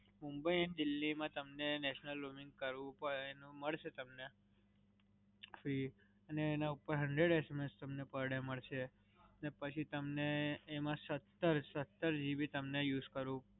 Mumbai and Delhi માં તમને national roaming કરવું પડે. એનું મલસે તમને free અને એના ઉપર hundred SMS તમને per day મડસે અને પછી તમને એમાં સત્તર, સત્તર GB તમને use કરવા